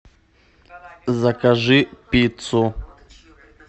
закажи пиццу